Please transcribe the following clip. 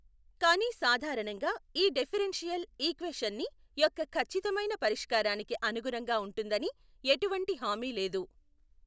కానీ సాధారణంగా ఈ డిఫరెన్షియల్ ఈక్వేషన్ని యొక్కఖచ్చితమైన పరిష్కారానికి అనుగుణంగా ఉంటుందని ఎటువంటి హామీ లేదు.